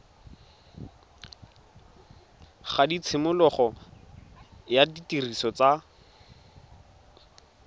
ga tshimologo ya tiriso ya